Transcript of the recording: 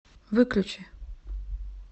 выключи